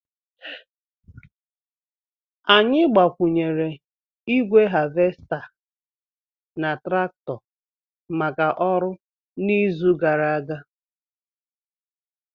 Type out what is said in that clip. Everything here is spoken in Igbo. Anyị gbakwụnyere igwe havesta na traktọ maka ọrụ n'izu gara aga